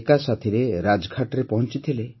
ଏକାସାଥିରେ ରାଜଘାଟରେ ପହଞ୍ଚିଥିଲେ